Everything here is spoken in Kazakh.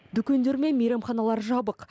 дүкендер мен мейрамханалар жабық